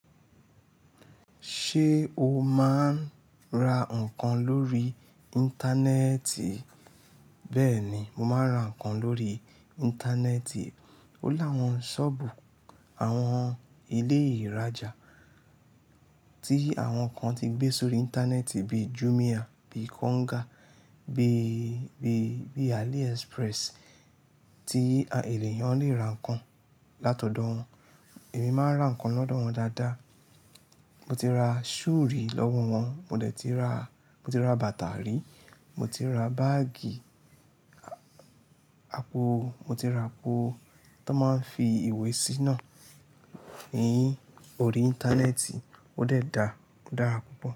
Ṣé o máa ń ra nǹkan lórí. Íńtánẹ́ẹ̀tì? Bẹ́ẹ̀ni, mo máa ń ra nǹkan lórí íńtánẹ́ẹ̀tì. Ó láwọn ṣọ́ọ̀bù àwọn ilé ìrajà tí àwọn kan ti gbé sórí íńtánẹ́ẹ̀tì bíi Jumia, bíi Konga, bíi, bíi, bíi AliExpress tí ènìyàn le ra nǹkan látọ̀dọ̀ wọn. Èmi máa ń ra nǹkan lọ́dọ̀ wọn dáadáa. Mo ti ra shoe rí lọ́wọ́ wọn, mo dẹ̀ ti ra, mo ti ra bàtà rí, mo ti ra báágì, àpò, mo ti ra àpò tó máa ń fi ìwé sí náà. Ẹ̀yin, orí íńtánẹ́ẹ̀tì ó dẹ̀ da, ó dára púpọ̀